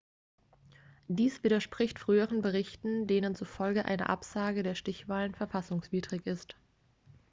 dies widerspricht früheren berichten denen zufolge eine absage der stichwahlen verfassungswidrig ist